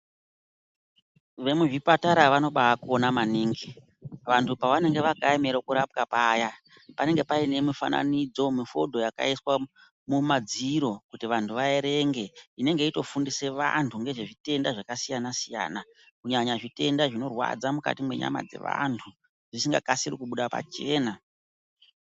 Vemuzvipatara vanobayi kona maningi vandu pavanenge vakayemere kurapwa paya panenge paine mufananidzo womufodho wakaiswa mumadziro kuti andu aerenge inenge yeyitofundise vandu ngezvezvitenda zvakambai siyana siyana kunyanya zvitenda zvinorwadza mukati mwenyama dzevandu zvisingakasiri kubuda pachena.